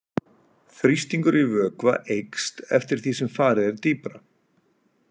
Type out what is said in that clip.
Þrýstingur í vökva eykst eftir því sem farið er dýpra.